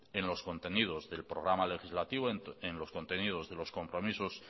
en los contenidos del programa legislativo en los contenidos de los compromisos